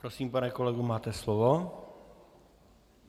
Prosím, pane kolego, máte slovo.